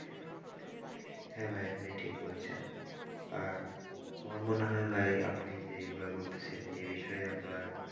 হ্যাঁ ভাই আপনি ঠিক বলছেন আর আমার মনে হয় ভাই আপনি যেগুলো বলতেছেন এ বিষয়ে আপনার,